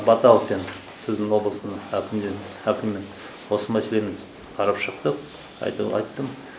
баталкин сіздің облыстың әкімімен осы мәселені қарап шықтық айтуы айттым